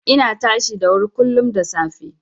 Ina tashi da wuri kullum da safe.